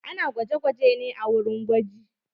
Ana gwaje-gwaje ne a wurin gwaji.